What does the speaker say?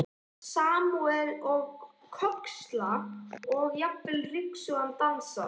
Samúðin með Kölska og jafnvel ryksugan dansar.